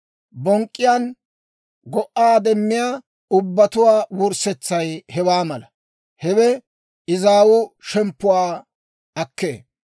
Bonk'k'iyaan go"aa demmiyaa ubbatuwaa wurssetsay hewaa mala; hewe izaawu shemppuwaa akkee.